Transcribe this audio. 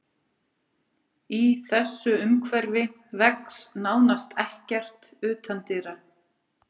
Í þessu umhverfi vex nánast ekkert utandyra.